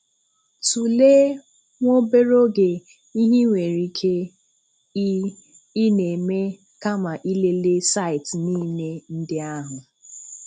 Tulee nwa obere oge ihe i nwere ike ị ị na-eme kama ilele saịtị niile ndị ahụ.